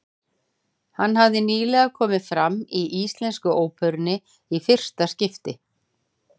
Hann hefur nýlega komið fram í Íslensku óperunni í fyrsta skipti.